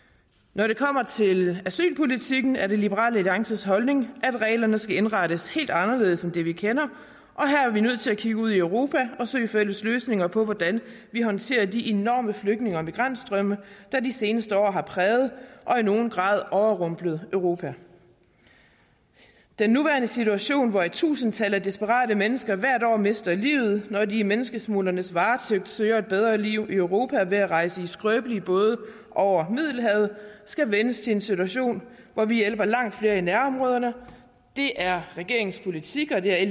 når det kommer til asylpolitikken er det liberal alliances holdning at reglerne skal indrettes helt anderledes end det vi kender og her er vi nødt til at kigge ud i europa og søge fælles løsninger på hvordan vi håndterer de enorme flygtninge og migrantstrømme der de seneste år har præget og i nogen grad overrumplet europa den nuværende situation hvor i tusindtal af desperate mennesker hvert år mister livet når de i menneskesmuglernes varetægt søger et bedre liv i europa ved at rejse i skrøbelige både over middelhavet skal vendes til en situation hvor vi hjælper langt flere i nærområderne det er regeringens politik og det